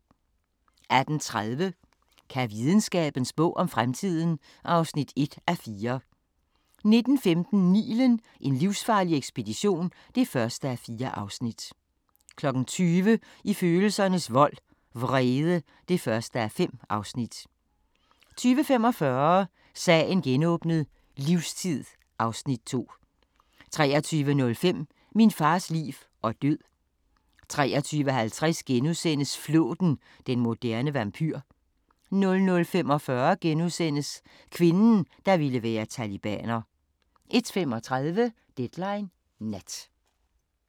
18:30: Kan videnskaben spå om fremtiden? (1:4) 19:15: Nilen: En livsfarlig ekspedition (1:4) 20:00: I følelsernes vold – Vrede (1:5) 20:45: Sagen genåbnet: Livstid (Afs. 2) 23:05: Min fars liv og død 23:50: Flåten – den moderne vampyr * 00:45: Kvinden, der ville være talibaner * 01:35: Deadline Nat